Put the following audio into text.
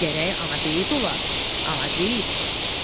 Gərək ana beyi ola, ana beyi.